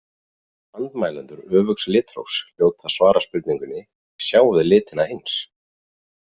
Andmælendur öfugs litrófs hljóta að svara spurningunni Sjáum við litina eins?